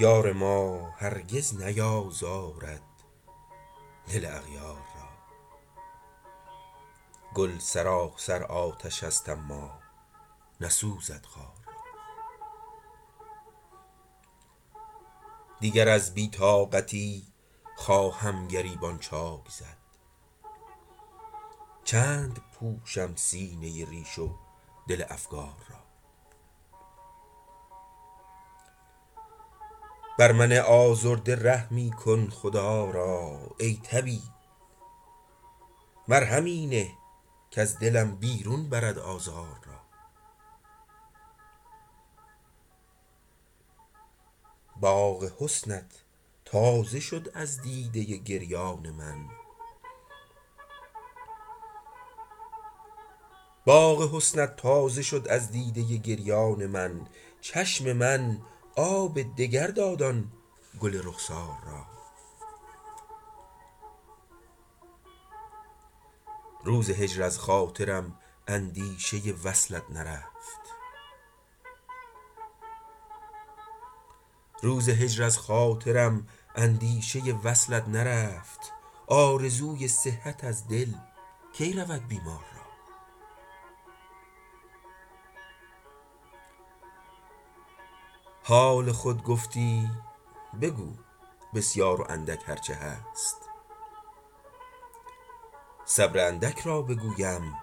یار ما هرگز نیازارد دل اغیار را گل سراسر آتشست اما نسوزد خار را دیگر از بی طاقتی خواهم گریبان چاک زد چند پوشم سینه ریش و دل افگار را بر من آزرده رحمی کن خدا را ای طبیب مرهمی نه کز دلم بیرون برد آزار را باغ حسنت تازه شد از دیده گریان من چشم من آب دگر داد آن گل رخسار را روز هجر از خاطرم اندیشه وصلت نرفت آرزوی صحت از دل کی رود بیمار را حال خود گفتی بگو بسیار و اندک هرچه هست صبر اندک را بگویم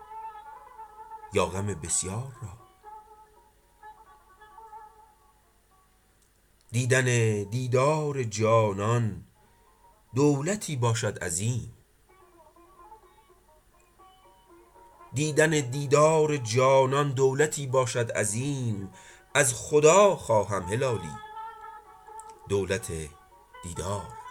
یا غم بسیار را دیدن دیدار جانان دولتی باشد عظیم از خدا خواهد هلالی دولت دیدار را